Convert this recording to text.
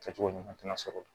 Kɛcogo ɲuman tɛna sɔrɔ